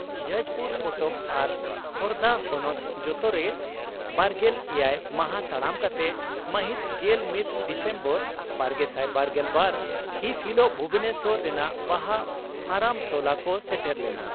ᱡᱟᱡᱽᱯᱩᱨ ᱠᱚᱴᱚᱠ ᱟᱨ ᱠᱷᱳᱨᱫᱟ ᱦᱚᱱᱚᱛ ᱡᱚᱛᱚᱨᱮ ᱵᱟᱨᱜᱮᱞ ᱮᱭᱟᱭ ᱢᱟᱦᱟᱸ ᱛᱟᱲᱟᱢ ᱠᱟᱛᱮ ᱢᱟᱹᱦᱤᱛ ᱜᱮᱞ ᱢᱤᱛ ᱰᱤᱥᱮᱢᱵᱚᱨ ᱵᱟᱨᱜᱮᱥᱟᱭ ᱵᱟᱨᱜᱮᱞ ᱵᱟᱨ ᱦᱤᱛ ᱦᱤᱞᱚᱜ ᱵᱷᱩᱵᱚᱱᱮᱥᱚᱨ ᱨᱮᱱᱟᱜ ᱵᱟᱦᱟ ᱯᱷᱟᱨᱟᱢ ᱴᱚᱞᱟ ᱠᱚ ᱥᱮᱴᱮᱨ ᱞᱮᱱᱟ ᱾